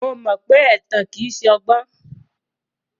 Mo mọ pé ẹ̀tàn kìí ṣọgbọ́n.